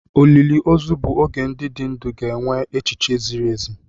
Olili ozu bụ oge ndị dị ndụ ga-enwe echiche ziri ezi.